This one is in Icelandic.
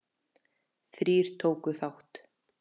Þrír tóku þátt.